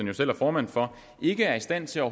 jo selv er formand for ikke er i stand til at